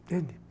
Entende?